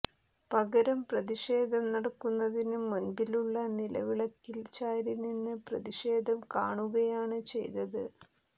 പകരം പ്രതിഷേധം നടക്കുന്നതിന് മുമ്പിലുള്ള നിലവിളക്കിൽ ചാരിനിന്ന് പ്രതിഷേധം കാണുകയാണ് ചെയ്തത്